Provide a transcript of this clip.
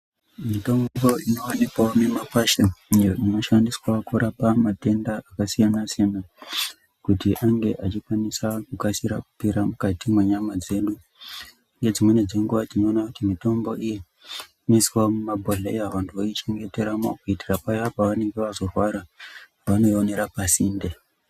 Mitombo inowanikwawo mumakwasha, iyo inoshandiswawo kurapa matenda akasiyana-siyana, kuti ange achikwanisa kugashira kupera mukati mwenyama dzedu. Ngedzimweni dzenguwa tinoona kuti mitombo iyi ,inoiswawo mumabhodhleya, vantu voichengeteramo kuitira paya pavanonge vazorwara, vanoiwonera pasinde.